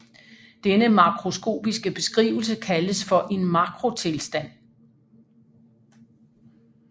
Denne makroskopiske beskrivelse kaldes for en makrotilstand